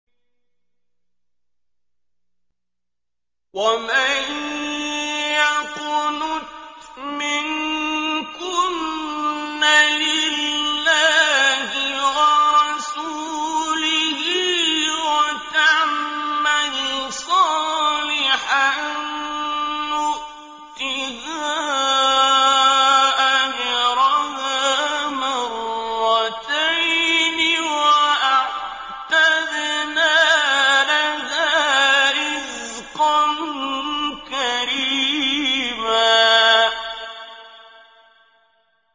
۞ وَمَن يَقْنُتْ مِنكُنَّ لِلَّهِ وَرَسُولِهِ وَتَعْمَلْ صَالِحًا نُّؤْتِهَا أَجْرَهَا مَرَّتَيْنِ وَأَعْتَدْنَا لَهَا رِزْقًا كَرِيمًا